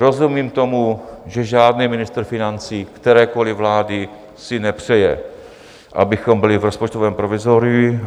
Rozumím tomu, že žádný ministr financí kterékoli vlády si nepřeje, abychom byli v rozpočtovém provizoriu.